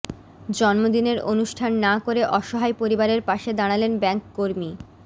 জন্মদিনের অনুষ্ঠান না করে অসহায় পরিবারের পাশে দাঁড়ালেন ব্যাঙ্ককর্মী